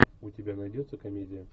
у тебя найдется комедия